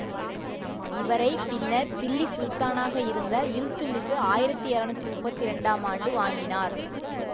இவரை பின்னர் தில்லி சுல்தானாக இருந்த இல்த்துத்மிசு ஆயிரத்தி இருநூற்றி முப்பத்தி இரண்டு ஆம் ஆண்டு வாங்கினார்